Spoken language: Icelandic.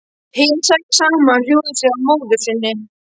Hin, sex saman, hjúfruðu sig að móður sinni.